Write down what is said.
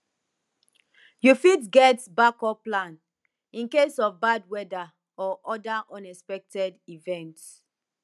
you fit get backup plan in case of bad weather or other unexpected events